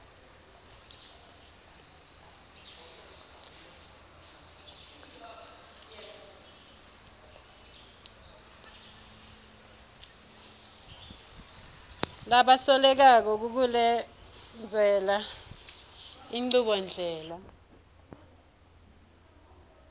labasolelwako kukulendzela inchubondlela